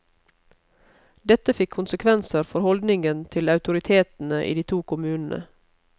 Dette fikk konsekvenser for holdningen til autoritetene i de to kommunene.